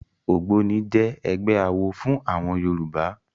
Ògbóni jẹ́ ẹgbẹ́ awo fún àwọn Yorùbá.